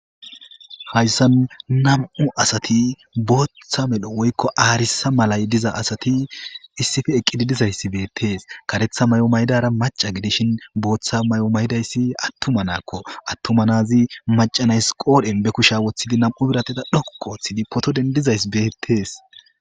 hayssan nam7u asati booththa melho woykko aarisa malay diza asati issife eqqidi dizayssi beettees karetha may7o maydara maca gidishin booththa may7o maydayssi attumanakko attumanazi macanays qoodhen be kusha woththidi nam7u birateda dhokqooththidi poto dendizays beettees